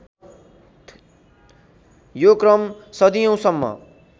यो क्रम सदियौँसम्म